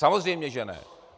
Samozřejmě že ne.